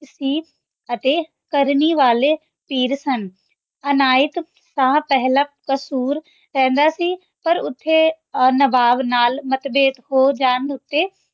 ਸੀ ਅਤੀ ਕਰਨੀ ਵਾਲੇ ਪੀਰ ਸਨ ਅਨਾਯਤ ਸ਼ਾਹ ਪੇਹ੍ਲਾਂ ਕਸੂਰ ਰਹੰਦਾ ਸੀ ਪਰ ਓਥੇ ਨਵਾਬ ਨਾਲ ਮਾਧ੍ਬੇਧ ਹੋ ਜਾਂ ਉਤੇ